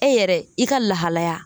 E yɛrɛ i ka lahalaya